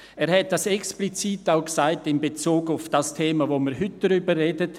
» Er hat dies explizit auch in Bezug auf das Thema gesagt, über das wir heute sprechen.